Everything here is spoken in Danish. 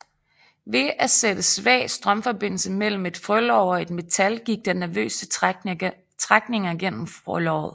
Ved at at sætte svag strømforbindelse mellem et frølår og et metal gik der nervøse trækninger gennem frølåret